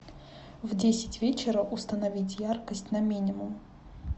в десять вечера установить яркость на минимум